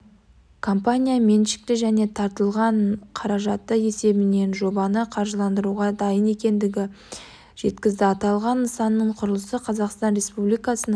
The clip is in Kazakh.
компания меншікті және тартылған қаражаты есебінен жобаны қаржыландыруға дайын екендігін жеткізді аталған нысанның құрылысы қазақстан республикасының